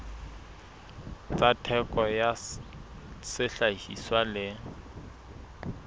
tsa theko ya sehlahiswa le